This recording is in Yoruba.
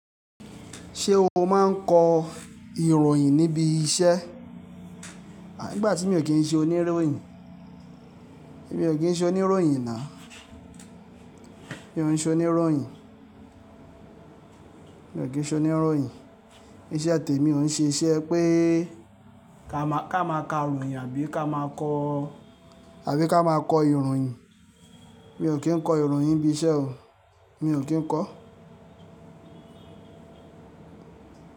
Ṣé o máa ń kọ ìròyìn níbi iṣẹ́? Àí, ìgbà tí mi ò kí ń ṣe oníròyìn. Èmi ò kí ń ṣe oníròyìn now Mi ò ń ṣe oníròyìn. Mi ò kí ń ṣe oníròyìn. Ise temi ò ń ṣe iṣẹ́ pé ká máa ka ìròyìn àbí ká máa kọ́, àbí ká máa kọ ìròyìn. Mi ò kí ń kọ ìròyìn níbi iṣẹ́ o. Mi ò kí ń kọ.